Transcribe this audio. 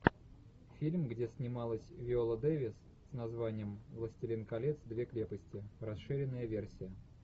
фильм где снималась виола дэвис с названием властелин колец две крепости расширенная версия